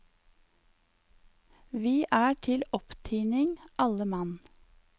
Vi er til opptining, alle mann.